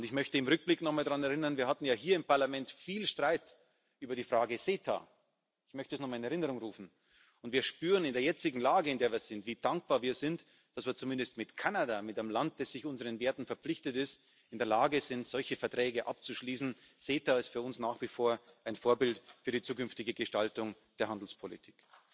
Ich möchte im Rückblick nochmal daran erinnern Wir hatten ja hier im Parlament viel Streit über die Frage CETA ich möchte das nochmal in Erinnerung rufen und wir spüren in der jetzigen Lage, wie dankbar wir sind, dass wir zumindest mit Kanada, mit einem Land, das unseren Werten verpflichtet ist, in der Lage sind, solche Verträge abzuschließen. CETA ist für uns nach wie vor ein Vorbild für die zukünftige Gestaltung der Handelspolitik.